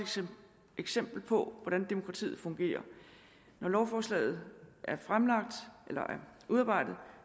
eksempel på hvordan demokratiet fungerer når lovforslaget er udarbejdet